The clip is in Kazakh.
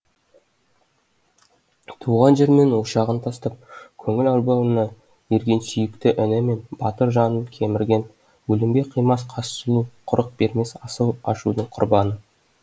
туған жер мен ошағын тастап көңіл арбауына ерген сүйікті іні мен батыр жанын кемірген өлімге қимас қас сұлу құрық бермес асау ашудың құрбаны